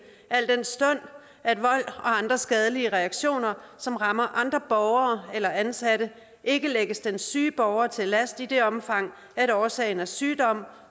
al den stund at vold og andre skadelige reaktioner som rammer andre borgere eller ansatte ikke lægges den syge borger til last i det omfang årsagen er sygdom